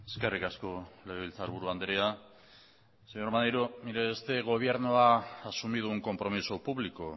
eskerrik asko legebiltzarburu andrea señor maneiro este gobierno ha asumido un compromiso público